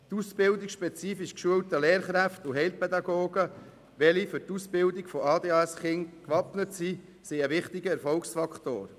Die Ausbildung spezifisch geschulter Lehrkräfte und Heilpädagogen, die für die Ausbildung von ADHS-Kindern gewappnet sind, sind ein wichtiger Erfolgsfaktor.